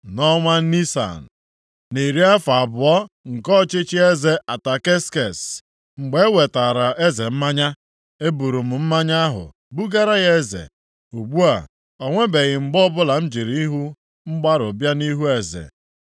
Nʼọnwa Nisan, nʼiri afọ abụọ nke ọchịchị eze Ataksekses, mgbe e wetaara eze mmanya. E buru m mmanya ahụ bugara ya eze. Ugbu a, o nwebeghị mgbe ọbụla m jirila ihu mgbarụ bịa nʼihu eze.